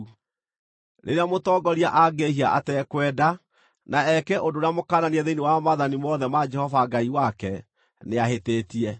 “ ‘Rĩrĩa mũtongoria angĩĩhia atekwenda, na eke ũndũ ũrĩa mũkananie thĩinĩ wa maathani mothe ma Jehova Ngai wake, nĩahĩtĩtie.